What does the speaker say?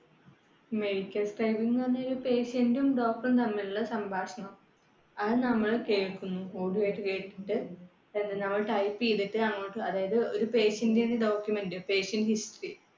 medical ഇന്ന് പറയുമ്പോൾ ഒരു doctor റും patient റ്റും തമ്മിലുള്ള സംഭാഷണം, അത് നമ്മൾ കേൾക്കുന്നു audio ആയിട്ട് കേട്ടിട്ട്, നമ്മൾ type ചെയ്തിട്ട് അങ്ങോട്ട്, അതായത് ഒരു patient ന്റെ document